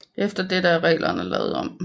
Efter dette er reglerne lavet om